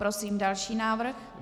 Prosím další návrh.